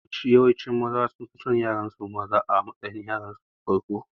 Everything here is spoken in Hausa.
Yawancin Maza sunfi son yara maza a matsayin yaransu na farko